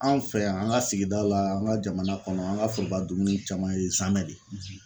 Anw fɛ yan an ka sigida la an ka jamana kɔnɔ an ka foroba dumuni caman ye zamɛ de.